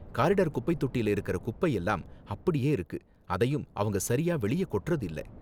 corridor குப்பை தொட்டில இருக்குற குப்பை எல்லாம் அப்படியே இருக்கு, அதையும் அவங்க சரியா வெளிய கொட்டுறது இல்ல